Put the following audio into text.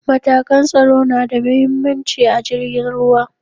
matakan tsaro nada mahimmanci a jirgin ruwa